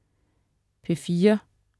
P4: